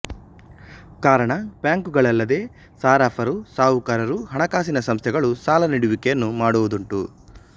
ಕಾರಣ ಬ್ಯಾಂಕುಗಳಲ್ಲದೆ ಸಾರಫರು ಸಾಹುಕಾರರು ಹಣಕಾಸಿನ ಸಂಸ್ಥೆಗಳು ಸಾಲ ನೀಡುವಿಕೆಯನ್ನು ಮಾಡುವುದುಂಟು